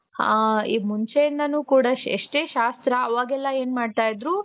ಆ ಮುಂಚೆ ಇಂದಾನು ಕೂಡ ಎಷ್ಟೇ ಶಾಸ್ತ್ರ ಅವಾಗೆಲ್ಲಾ ಏನ್ ಮಾಡ್ತಾ ಇದ್ದರು